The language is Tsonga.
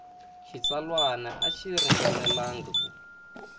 xitsalwana a xi ringanelangi ku